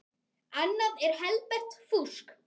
Annað er helbert fúsk.